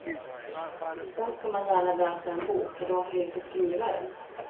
Sedan ska man gärna läsa en bok, eller varför inte skriva en.